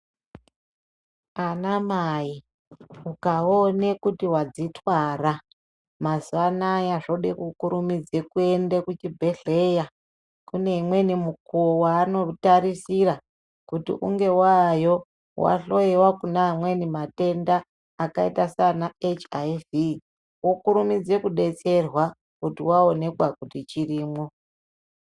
Anamai ukaone kuti wadzitwara mazuwa anaya zvode kukurumidza kuende kuzvibhedhlera kune imweni mukuwo yaanotarisira kuti unge waayo weihloiwa kune amweni matenda akaita seana (HIV)wokurumidze kudetserwa kuti waonekwa kuti chirimwo.